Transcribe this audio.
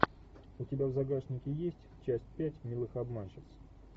у тебя в загашнике есть часть пять милых обманщиц